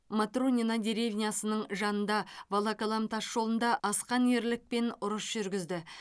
матронино деревнясының жанында волоколам тасжолында асқан ерлікпен ұрыс жүргізді